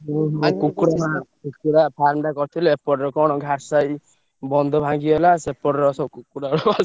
କୁକୁଡ଼ା, କୁକୁଡା farm ଟା କରିଥିଲି ଏପଟରେ କଣ ଘାରସାଇ ବନ୍ଧ ଭାଙ୍ଗିଗଲା ସେପଟର ସବୁ କୁକୁଡ଼ା